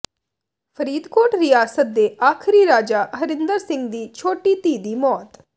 ਫ਼ਰੀਦਕੋਟ ਰਿਆਸਤ ਦੇ ਆਖਰੀ ਰਾਜਾ ਹਰਿੰਦਰ ਸਿੰਘ ਦੀ ਛੋਟੀ ਧੀ ਦੀ ਮੌਤ